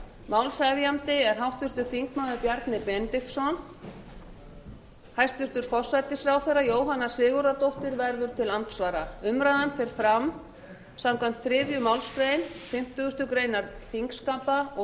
málshefjandi er háttvirtur þingmaður bjarni benediktsson hæstvirtur forsætisráðherra jóhanna sigurðardóttir verður til andsvara umræðan fer fram samkvæmt þriðju málsgrein fimmtugustu grein þingskapa og